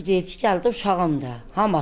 Atası deyib ki, gəl bu uşağımdır.